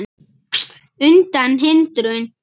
undan hindrun